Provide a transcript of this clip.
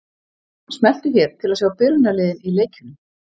Smelltu hér til að sjá byrjunarliðin í leikjunum.